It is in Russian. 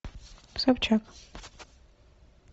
собчак